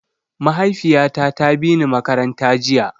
Mahaifiyata ta bini makaranta jiya.